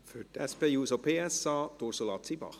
Für die SP-JUSO-PSA, Ursula Zybach.